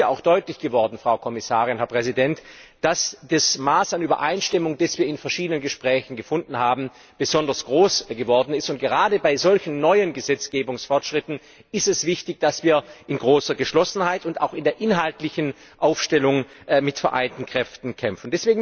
Es ist ja auch deutlich geworden, dass das Maß an Übereinstimmung, das wir in verschiedenen Gesprächen gefunden haben, besonders groß ist. Gerade bei solchen neuen Gesetzgebungsfortschritten ist es wichtig, dass wir in großer Geschlossenheit und auch in der inhaltlichen Aufstellung mit vereinten Kräften kämpfen.